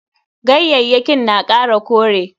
Ganyayyakin na kara kore.